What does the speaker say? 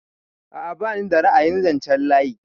A'a bani da ra'ayin zanchen layi.